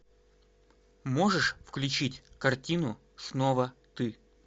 можешь включить картину снова ты